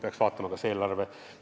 Peaks vaatama eelarvet.